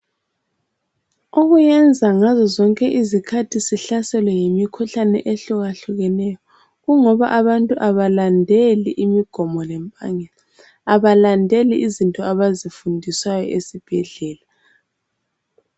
Okuyenza ngazo zonke izikhathi sihlaselwe yimikhuhlane ehlukahlukeneyo. Kungoba abantu kabalandeli imigomo lempangisa. Abalandeli izinto abazifundiswayo esibhedlela.